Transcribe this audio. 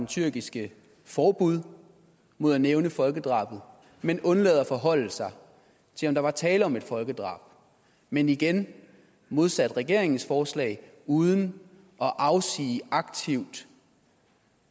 tyrkiske forbud mod at nævne folkedrabet man undlader at forholde sig til om der var tale om et folkedrab men igen modsat regeringens forslag uden aktivt